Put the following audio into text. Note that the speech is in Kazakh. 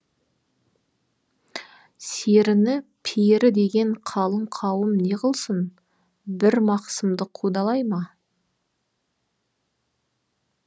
серіні пері деген қалың қауым не ғылсын бір мақсымды қудалай ма